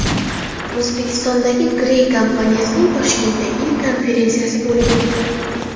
O‘zbekistondagi Gree kompaniyasining Toshkentda ilk konferensiyasi bo‘lib o‘tdi.